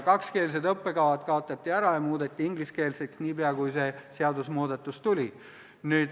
Kakskeelsed õppekavad kaotati ära ja muudeti ingliskeelseks niipea, kui see seadusmuudatus tuli.